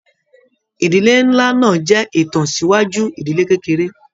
Ìdílé nlá náà jẹ itansiwaju ìdílé kékeré.